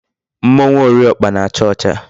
Mmanwu Ori okpa na-acha ocha